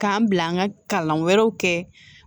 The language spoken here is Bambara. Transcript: K'an bila an ka kalan wɛrɛw kɛ